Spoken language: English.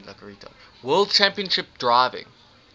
world championship driving